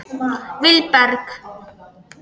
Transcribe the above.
Vilberg